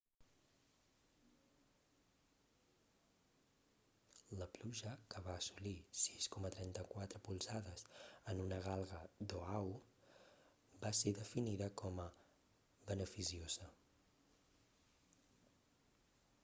la pluja que va assolir 6,34 polzades en una galga d'oahu va ser definida com a beneficiosa